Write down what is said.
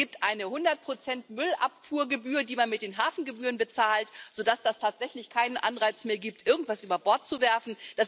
Es gibt eine hundertprozentige Müllabfuhrgebühr, die man mit den Hafengebühren bezahlt, sodass es tatsächlich keinen Anreiz mehr gibt, irgendetwas über Bord zu werfen.